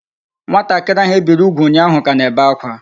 Nwatakiri ahu ebiri ugwu unyahu ka na-ebe akwa